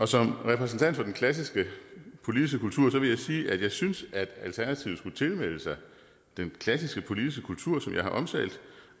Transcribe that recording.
som repræsentant for den klassiske politiske kultur vil jeg sige at jeg synes at alternativet skulle tilmelde sig den klassiske politiske kultur som jeg har omtalt